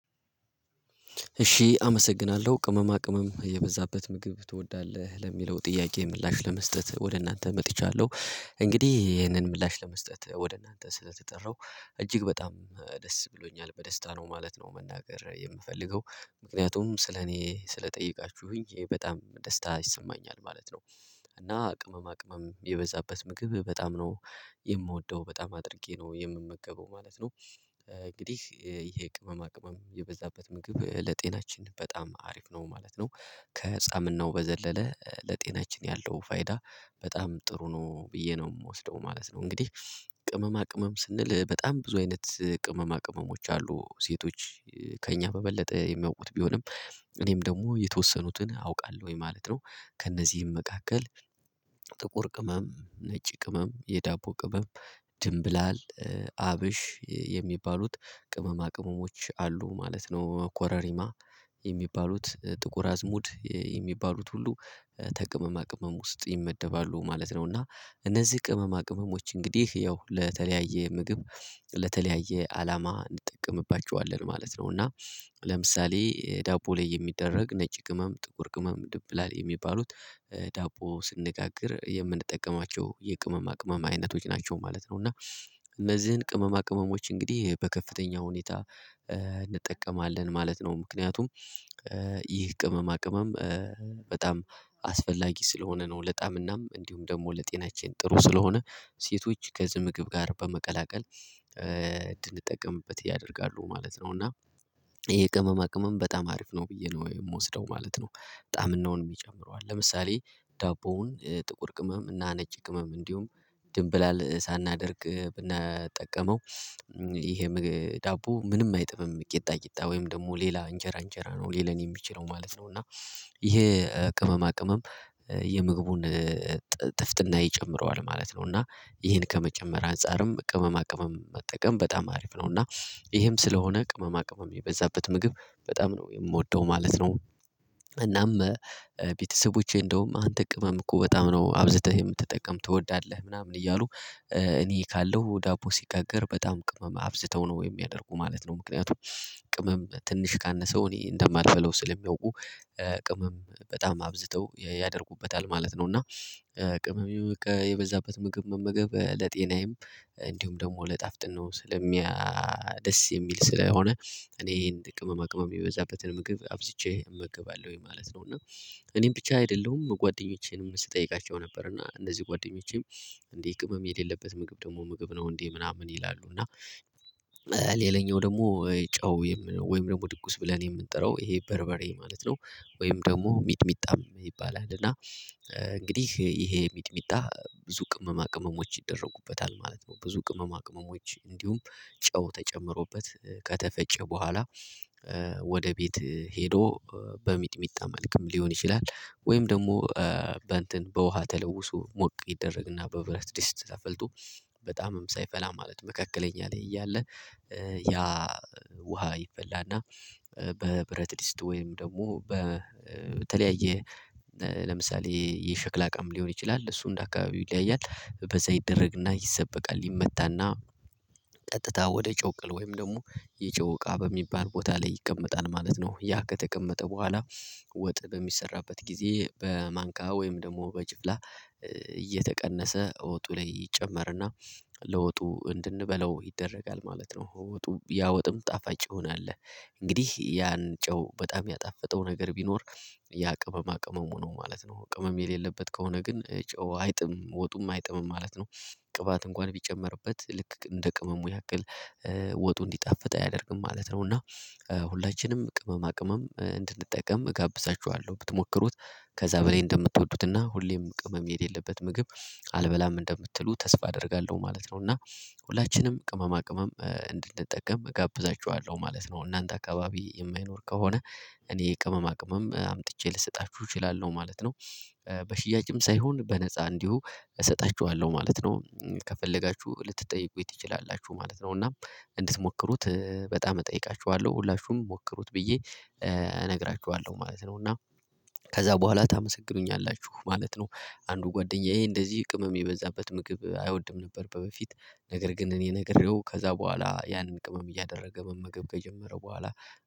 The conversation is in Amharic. እሺ አመሰግናለው ቅመማ ቅመም የበዛበት ምግብ ትወዳለህ ለሚለው ጥያቄ ምላሽ ለመስጠት ወደ እናንተ መጥቻለው እንግዲ ይሄንን ምላሽ ለመስጠት ወደ እናንተ ስለተጠራው እጅግ በጣም ደስ ብሎኛል በደስታ ነው ማለት ነው መናገር የምፈልገው ምክንያቱም ስለኔ ስለጠየቃችሁኝ ይሄ በጣም ደስታ ይሰማኛል ማለት ነው። እና ቅመማ ቅመም የበዛበት ምግብ በጣም ነው የምወደው በጣም አድርጌ ነው የምመገበው ማለት ነው። እንግዲህ ይሄ ቅመማ ቅመም የበዛበት ምግብ ለጤናችን በጣም አሪፍ ነው ማለት ነው። ከፃምናው በዘለለ ለጤናችን ያለው ፋይዳ በጣም ጥሩ ነው ብዬ ነው ምወስደው ማለት ነው። እንግዲህ ቅመማ ቅመም ስንል በጣም ብዙ አይነት ቅመማ ቅመሞች አሉ ሴቶች ከእኛ በበለጠ የሚያውቁት ቢሆንም እኔም ደግሞ የተወሰኑትን አውቃለው ወይ ማለት ነው። ከእነዚህም መካከል ጥቁር ቅመም ነጭ ቅመም የዳቦ ቅመም ድንብላል አብሽ የሚባሉት ቅመማ ቅመሞች አሉ ማለት ነው ኮረሪማ የሚባሉት ጥቁር አዝሙድ የሚባሉት ሁሉ ከቅመማ ቅመም ውስጥ ይመደባሉ ማለት ነው። እና እነዚህ ቅመማ ቅመሞች እንግዲህ ያው ለተለያየ ምግብ ለተለያየ አላማ እንጠቀምባቸዋለን ማለት ነው። እና ለምሳሌ ዳቦ ላይ የሚደረግ ነጭ ቅመም ጥቁር ቅመም ድብላል የሚባሉት ዳቦ ስንጋግር የምንጠቀማቸው የቅመማ ቅመም አይነቶች ናቸው ማለት ነው። እና እነዚህን ቅመማ ቅመሞች እንግዲህ በከፍተኛ ሁኔታ እንጠቀማለን ማለት ነው ምክንያቱም ይህ ቅመማ ቅመም በጣም አስፈላጊ ስለሆነ ነው ለጣምናም እንዲሁም ደግሞ ለጤናችን ጥሩ ስለሆነ ሴቶች ከዚ ምግብ ጋር በመቀላቀል እንድንጠቀምበት ያደርጋሉ ማለት ነው። እና ይሄ ቅመማ ቅመም በጣም አሪፍ ነው ብዬ ነው የምወስደው ማለት ነው። ጣምናውንም ይጨምረዋል ለምሳሌ ዳቦውን ጥቁር ቅመም እና ነጭ ቅመም እንዲሁም ድንብላል ሳናደርግ ብናጠቀመው ይሄ ዳቦ ምንም አይጥምም ቂጣ ቂጣ ወይም ደግሞ ሌላ እንጀራ እንጀራ ነው ሊለን የሚችለው ማለት ነው። እና ይሄ ቅመማ ቅመም የምግቡን ጥፍጥና ይጨምረዋል ማለት ነው። እና ይሄን ከመጨመር አንፃርም ቅመማ ቅመም መጠቀም በጣም አሪፍ ነው እና ይሄም ስለሆነ ቅመማ ቅመም የበዛበት ምግብ በጣም ነው የምወደው ማለት ነው። እናም ቤተሰቦቼ እንደውም አንተ ቅመምኮ በጣም ነው አብዝተህ የምትጠቀም ትወዳለህ ምናምን እያሉ እኔ ካለው ዳቦ ሲጋገር በጣም ቅመም አብዝተው ነው የሚያደርጉ ማለት ነው። ምክንያቱም ቅመም ትንሽ ካነሰው እኔ እንደማልበላው ስለሚያውቁ ቅመም በጣም አብዝተው ያደርጉበታል ማለት ነው። እና ቅመም በቃ የበዛበት ምግብ መመገብ ለጤናዬም እንዲሁም ደግሞ ለጣፍጥናው ነው ስለሚያ ደስ የሚል ስለሆነ እኔ ይሄን ጥቅመማ ቅመም የበዛበትን ምግብ አብዝቼ እመገባለውኝ ማለት ነው። እና እኔም ብቻ አይደለሁም ጓደኞቼንም ስጠይቃቸው ነበር እና እንደዚህ ጓደኞቼም እንዴ ቅመም የሌለበት ምግብ ደግሞ ምግብ ነው እንዴ ምናምን ይላሉ እና ሌላኛው ደግሞ ጨው ወይም ደግሞ ድኩስ ብለን የምንጠራው ይሄ በርበሬ ማለት ነው። ወይም ደግሞ ሚጥሚጣም ይባላል እና እንግዲህ ይሄ ሚጥሚጣ ብዙ ቅመማ ቅመሞች ይደረጉበታል ማለት ነው። ብዙ ቅመማ ቅመሞች እንዲሁም ጨው ተጨምሮበት ከተፈጨ በኋላ ወደ ቤት ሄዶ በሚጥሚጣ መልክም ሊሆን ይችላል ወይም ደግሞ በውሃ ተለውሶ ሞቅ ይደረግና በብረት ድስት ተፈልቶ በጣምም ሳይፈላ ማለት ነው መካከለኛ ላይ እያለ ያ ውሃ ይፈላና በብረት ድስት ወይም ደግሞ በተለያየ ለምሳሌ የሸክላ እቃም ሊሆን ይችላል እሱ እንደ አካባቢው ይለያያል በዛ ይደረግና ይሰበቃል ይመታና ቀጥታ ወደ ጨውቅል ወይም ደግሞ የጨውቃ በሚባል ቦታ ላይ ይቀመጣል ማለት ነው። ያ ከተቀመጠ በኋላ ወጥ በሚሰራበት ጊዜ በማንካ ወይም ደግሞ በጅፍላ እየተቀነሰ እወጡ ላይ ይጨመርና ለወጡ እንድንበላው ይደረጋል ማለት ነው። ወጡ ያ ወጥም ጣፋጭ ይሆናል እንግዲህ ያን ጨው በጣም ያጣፈጠው ነገር ቢኖር ያቅመማ ቅመሙ ነው ማለት ነው ቅመም የሌለበት ከሆነ ግን ጨው አይጥምም ወጡም አይጥምም ማለት ነው። ቅባት እንኳን ቢጨመርበት ልክ እንደ ቅመሙ ያክል ወጡ እንዲጣፍጥ አያደርግም ማለት ነው። እና ሁላችንም ቅመማ ቅመም እንድንጠቀም እጋብዛችኋለው ብትሞክሩት ከዛ በላይ እንደምትወዱትና ሁሌም ቅመም የሌለበት ምግብ አልበላም እንደምትሉ ተስፋ አደርጋለው ማለት ነው። እና ሁላችንም ቅመማ ቅመም እንድንጠቀም እጋብዛችኋለው ማለት ነው። እናንተ አካባቢ የማይኖር ከሆነ እኔ ቅመማ ቅመም አምጥቼ ልሰጣችሁ እችላለው ማለት ነው። በሽያጭም ሳይሆን በነፃ እንዲሁ እሰጣችዋለው ማለት ነው። ከፈለጋቹ ልትጠይቁኝ ትችላላቹ ማለት ነው። እና እንድትሞክሩት በጣም እጠይቃችዋለው ሁላቹም ሞክሩት ብዬ እነግራችዋለው ማለት ነው። እና ከዛ በኋላ ታመሰግኑኛላችሁ ማለት ነው። አንዱ ጓደኛዬ እንደዚህ ቅመም የበዛበት ምግብ አይወድም ነበር በበፊት ነገር ግን እኔ ነግሬው ከዛ በኋላ ያንን ቅመም እያደረገ መመገብ ከጀመረ በኋላ